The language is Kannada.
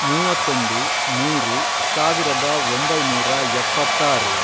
ಮೂವತ್ತೊಂದು, ಮೂರು, ಸಾವಿರದ ಒಂಬೈನೂರ ಎಪ್ಪತ್ತಾರು